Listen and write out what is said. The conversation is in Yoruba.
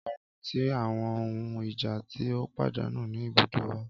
Ọran ti awọn ohun ija ti o padanu ni ibudó wa